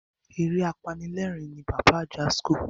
Eré apanilerin ni Pàpá Ajasco.